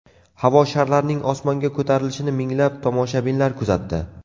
Havo sharlarining osmonga ko‘tarilishini minglab tomoshabinlar kuzatdi.